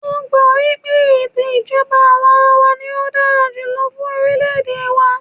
Mó gbà wípé ètò ìjọbá àwàrawa ní o dára jùlọ fún orilẹ ède wa.